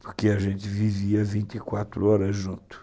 Porque a gente vivia vinte e quatro horas juntos.